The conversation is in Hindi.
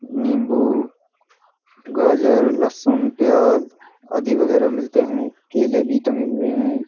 निम्बू गाजर लसुन प्याज आदि वगेरा मिलते हैं। केले भी टंगे हुए हैं।